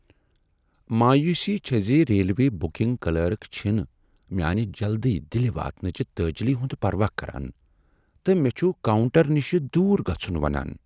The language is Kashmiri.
مایوسی چھےٚ زِ ریلوے بکنگ کلرک چھنہٕ میانہ جلدی دِلہ واتنٕچہِ تٲجلی ہُند پروا كران تہٕ مے٘ چھُ كاونٹر نشہ دوٗر گژھُن ونان ۔